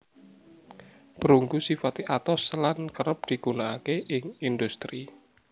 Perunggu sifate atos lan kerep digunakake ing industri